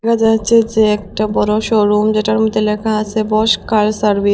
এটা হচ্ছে যে একটা বড় শোরুম যেটার মধ্যে লেখা আছে বসকায় সার্ভিস ।